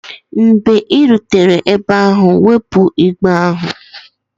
Mgbe ị rutere ebe ahụ, wepụ igbe ahụ!